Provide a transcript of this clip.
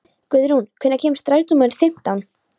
Guðrún, hvenær kemur strætó númer fimmtán?